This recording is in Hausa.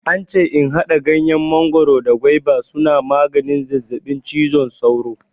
Ance in haɗa ganyen mangoro da gwaiba suna maganin zazzaɓin cizon sauro.